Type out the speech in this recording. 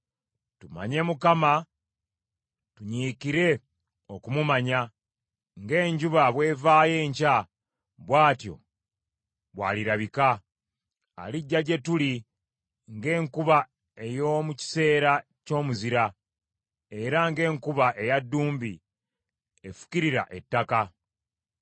Tumanye Mukama ; tunyiikire okumumanya. Ng’enjuba bw’evaayo enkya, bw’atyo bw’alirabika; alijja gye tuli ng’enkuba ey’omu kiseera ky’omuzira, era ng’enkuba eya ddumbi efukirira ettaka.”